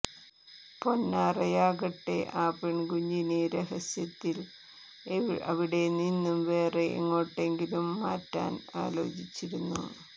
പൊന്നാറയാകട്ടെ ആ പെൺകുഞ്ഞിനെ രാസ്യത്തിൽ അവിടെനിന്ന് വേറെ എങ്ങോട്ടെങ്കിലും മാറ്റാൻ ആലോചിച്ചിരുന്നു